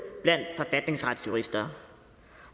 blandt forfatningsretsjurister